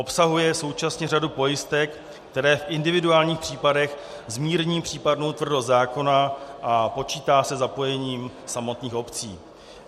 Obsahuje současně řadu pojistek, které v individuálních případech zmírní případnou tvrdost zákona, a počítá se zapojením samotných obcí.